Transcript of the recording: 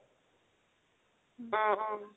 উম উম